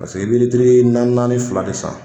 i bɛ litiri naani naani fila de san